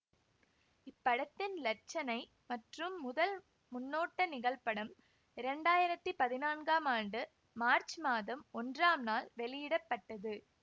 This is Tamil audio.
இப்படத்தின் இலட்சனை மற்றும் முதல் முன்னோட்ட நிகழ்படம் இரண்டாயிரத்தி பதினான்காம் ஆண்டு மார்ச் மாதம் ஒன்றாம் நாள் வெளியிட பட்டது